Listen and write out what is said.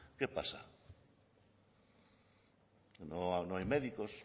qué pasa no hay médicos